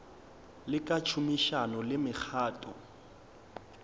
le ka tšhomišano le mekgatlo